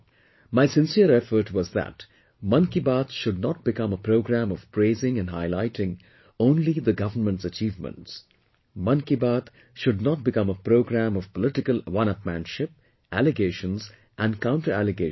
My sincere effort was that 'Mann Ki Baat' should not become a programme of praising and highlighting only government's achievements; Mann Ki Baat should not become a programme of political oneupmanship, allegations and counter allegations